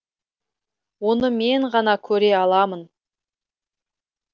оны мен ғана көре аламын